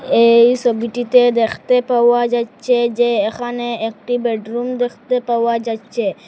এই সোবিটিতে দেখতে পাওয়া যাচ্ছে যে এখানে একটি বেডরুম দেখতে পাওয়া যাচ্চে।